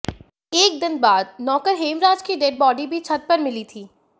एक दिन बाद नौकर हेमराज की डेड बॉडी भी छत पर मिली थी